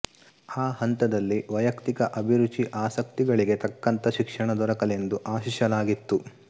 ಆ ಹಂತದಲ್ಲಿ ವೈಯಕ್ತಿಕ ಅಭಿರುಚಿ ಆಸಕ್ತಿಗಳಿಗೆ ತಕ್ಕಂಥ ಶಿಕ್ಷಣ ದೊರಕಲೆಂದು ಆಶಿಸಲಾಗಿತ್ತು